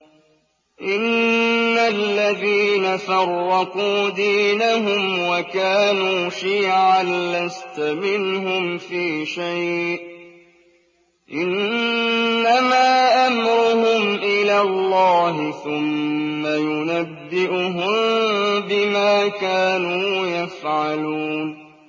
إِنَّ الَّذِينَ فَرَّقُوا دِينَهُمْ وَكَانُوا شِيَعًا لَّسْتَ مِنْهُمْ فِي شَيْءٍ ۚ إِنَّمَا أَمْرُهُمْ إِلَى اللَّهِ ثُمَّ يُنَبِّئُهُم بِمَا كَانُوا يَفْعَلُونَ